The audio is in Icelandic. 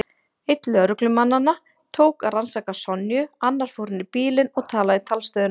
Einn lögreglumannanna tók að rannsaka Sonju, annar fór inn í bílinn og talaði í talstöðina.